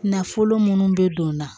Nafolo munnu be don n na